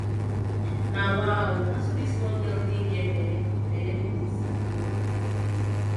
nawa oo na so dis small girl take get bele bele be dis